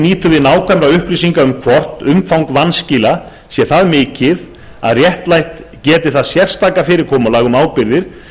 nýtur við nákvæmra upplýsinga um hvort umfang vanskila sé það mikið að réttlætt geti það sérstaka fyrirkomulag um ábyrgðir